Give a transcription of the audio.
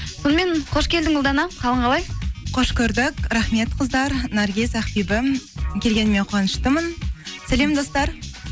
сонымен қош келдің ұлдана қалың қалай қош көрдік рахмет қыздар наргиз ақбибі келгеніме қуаныштымын сәлем достар